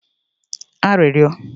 arịrịọ